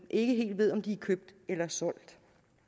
ikke helt ved om de er købt eller solgt